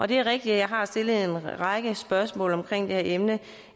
det er rigtigt jeg har stillet en række spørgsmål om det her emne